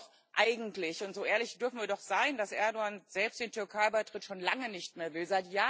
Wir wissen doch eigentlich, und so ehrlich dürfen wir doch sein, dass Erdoğan selbst den Türkeibeitritt schon lange nicht mehr will.